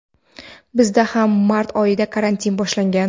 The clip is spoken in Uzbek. bizda ham mart oyida karantin boshlangan.